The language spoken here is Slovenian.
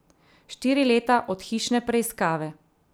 Štiri leta od hišne preiskave.